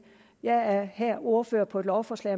jeg er her ordfører på et lovforslag